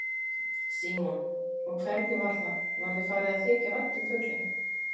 Símon: Og hvernig var það, var þér farið að þykja vænt um fuglinn?